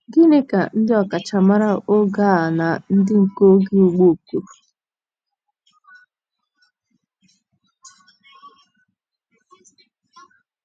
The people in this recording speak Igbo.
Gịnị ka ndị ọkachamara oge a na ndị nke oge gboo kwuru?